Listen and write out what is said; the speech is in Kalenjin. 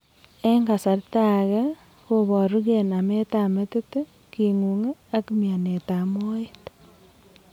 en kasarta age koporu geen ametap metit kingung ak mianetap moet.